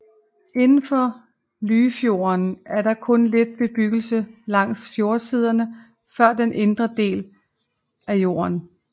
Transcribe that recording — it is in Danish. Indenfor Lyfjorden er der kun lidt bebyggelse langs fjordsiderne før den indre del af fjorden